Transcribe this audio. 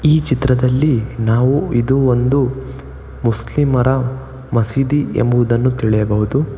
ಈ ಚಿತ್ರದಲ್ಲಿ ನಾವು ಇದು ಒಂದು ಮುಸ್ಲಿಮರ ಮಸೀದಿ ಎಂಬುದನ್ನು ತಿಳಿಯಬಹುದು.